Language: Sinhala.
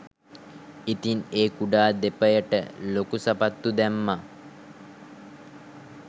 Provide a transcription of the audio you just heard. ඉතිං ඒ කුඩා දෙපයට ලොකු සපත්තු දැම්ම